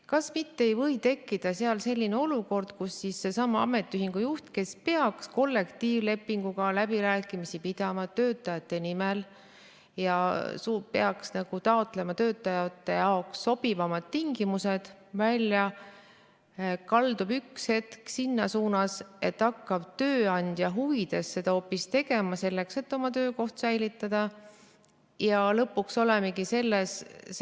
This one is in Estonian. Kas mitte ei või tekkida selline olukord, kus seesama ametiühingu juht, kes peaks pidama kollektiivlepingu läbirääkimisi töötajate nimel ja peaks taotlema töötajate jaoks sobivamaid tingimusi, kaldub üks hetk sinna suunda, et hakkab seda hoopis tööandja huvides tegema, selleks et oma töökohta säilitada?